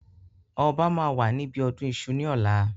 Ọba máa wà níbi ọdún Iṣu ni ọ̀la.